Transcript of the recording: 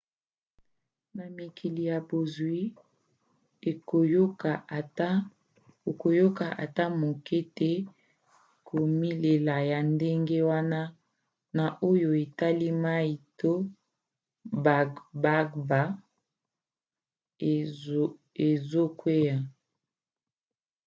na mikili ya bozwi okoyoka ata moke te komilela ya ndenge wana na oyo etali mai to bagbagba ezokwea